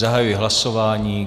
Zahajuji hlasování.